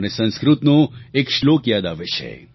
મને સંસ્કૃતનો એક શ્લોક યાદ આવે છે